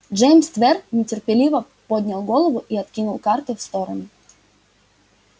джеймс твер нетерпеливо поднял голову и откинул карты в сторону